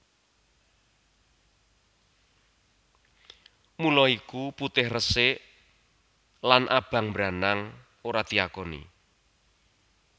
Mula iku putih resik lan abang branang ora diakoni